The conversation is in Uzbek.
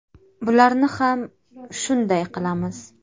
Bularni ham shunday qilamiz.